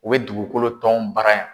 U bɛ dugukolo t'ɔnw bara yan.